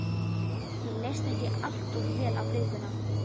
Mér leist ekki allt of vel á blikuna.